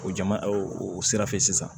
O jama o sira fɛ sisan